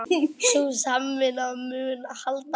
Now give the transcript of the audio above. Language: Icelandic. Sú samvinna mun halda áfram